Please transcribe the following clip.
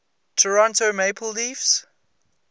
toronto maple leafs